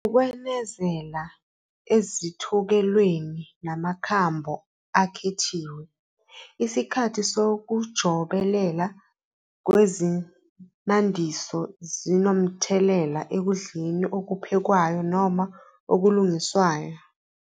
Ukwenezela ezithokelweni namakhambo akhethiwe, isikhathi sokujobelela ngezinandiso sinomthelela ekudleni okuphekwayo noma okulungiswayo.